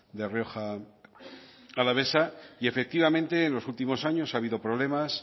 de rioja alavesa y efectivamente en los últimos años ha habido problemas